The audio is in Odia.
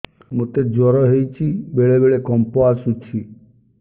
ମୋତେ ଜ୍ୱର ହେଇଚି ବେଳେ ବେଳେ କମ୍ପ ଆସୁଛି